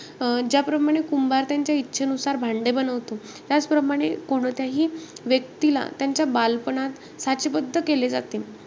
अं ज्याप्रमाणे कुंभार त्यांच्या इच्छेनुसार भांडे बनवतो. त्याचप्रमाणे, कोणत्याही व्यक्तीला त्यांच्या बालपणात साचेबद्ध केले जाते.